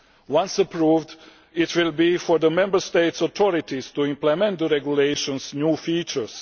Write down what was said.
Once approved, it will be for the Member States' authorities to implement the regulation's new features.